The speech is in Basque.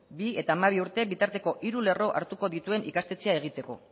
bi eta hamabi urte bitarteko hiru lerro hartuko dituen ikastetxea egiteko